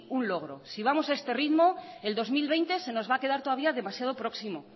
un logro si vamos a este ritmo el dos mil veinte se nos va a quedar todavía demasiado próximo